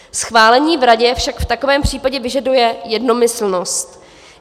Schválení v Radě však v takovém případě vyžaduje jednomyslnost.